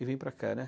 E vim para cá, né.